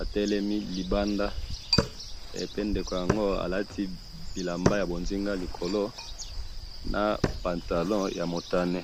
atelemi libanda, pe ndeko yango alati bilamba yabonzinga likolo, na pantalon namotane